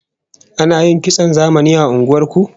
Ana yin kitson zamani a unguwar ku?